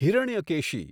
Hiranyakeshi